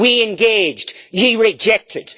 We engaged, you rejected!